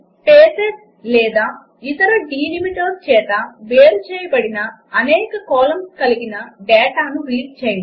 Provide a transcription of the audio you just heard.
spaces లేదా ఇతర delimiters చేత వేరు చేయబడిన అనేక కాలమ్స్ కలిగిన డాటా రీడ్ చేయడం